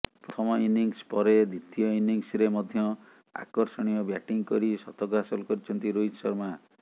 ପ୍ରଥମ ଇନିଂସ ପରେ ଦ୍ୱିତୀୟ ଇନିଂସରେ ମଧ୍ୟ ଆକର୍ଷଣୀୟ ବ୍ୟାଟିଂ କରି ଶତକ ହାସଲ କରିଛନ୍ତି ରୋହିତ ଶର୍ମା